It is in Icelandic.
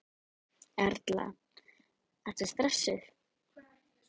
Erla: Ertu stressaður?